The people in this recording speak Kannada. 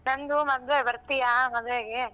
ನಂದು ಮದ್ವೆ ಬರ್ತಿಯಾ ಮದ್ವಿಗೆ?